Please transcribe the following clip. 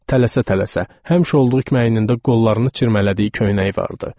Tələsə-tələsə, həmişə olduğu kimi əynində qollarını çirmələdiyi köynəyi vardı.